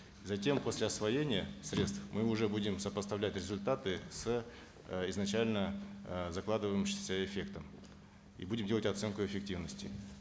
затем после освоения средств мы уже будем сопоставлять результаты с э изначально э закладывающимся эффектом и будем делать оценку эффективности